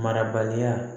Marabaliya